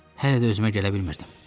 Hələ də özümə gələ bilmirdim.